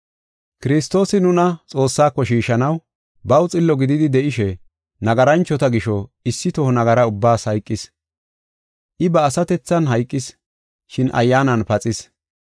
Kiristoosi nuna Xoossaako shiishanaw baw xillo gididi de7ishe, nagaranchota gisho issi toho nagara ubbaas hayqis; I ba asatethan hayqis, shin ayyaanan paxis.